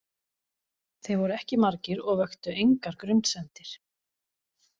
Þeir voru ekki margir og vöktu engar grunsemdir.